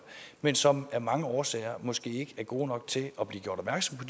men som af mange årsager måske ikke er gode nok til at blive gjort opmærksom på